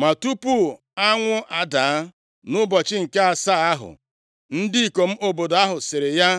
Ma tupu anwụ adaa nʼụbọchị nke asaa ahụ, ndị ikom obodo ahụ sịrị ya,